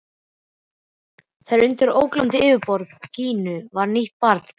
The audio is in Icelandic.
Og undir ólgandi yfirborði Gínu var nýtt barn byrjað vegferð.